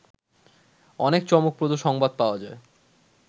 অনেক চমকপ্রদ সংবাদ পাওয়া যায়